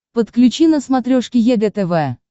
подключи на смотрешке егэ тв